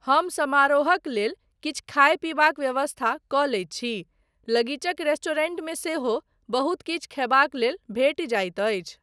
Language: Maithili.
हम समारोहक लेल किछु खाय पीबाक व्यवस्था कऽ लैत छी, लगीचक रेस्टॉरेंट मे सेहो बहुत किछु खयबाक लेल भेटि जाइत अछि।